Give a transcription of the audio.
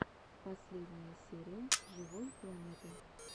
последняя серия живой планеты